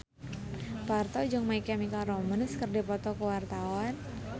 Parto jeung My Chemical Romance keur dipoto ku wartawan